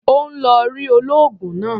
Ó ń lọ rí olóògùn náà.